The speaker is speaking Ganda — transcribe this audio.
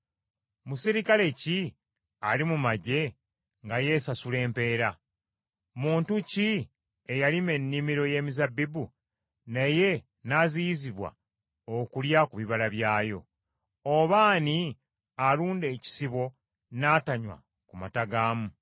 Muserikale ki ali mu magye nga yeesasula empeera? Muntu ki eyalima ennimiro y’emizabbibu naye n’aziyizibwa okulya ku bibala byayo? Oba ani alunda ekisibo n’atanywa ku mata gaamu?